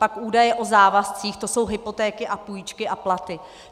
Pak údaje o závazcích, to jsou hypotéky a půjčky a platy.